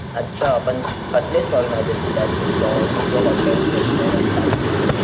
अच्छा पण कसले स्टॉल्स माहितेय तुला अशे स्टॉल्स किंवा हॉटेल्स रेस्टोरंट काही बोल.